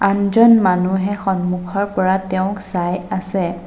আনজন মানুহে সন্মুখৰ পৰা তেওঁক চাই আছে।